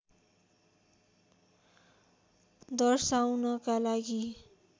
दर्शाउनका लागि